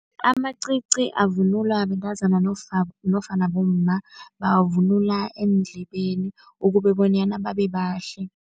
Amacici avunulwa bentazana nofana bomma, bawavunula eendlebeni ukube bonyana babebahle.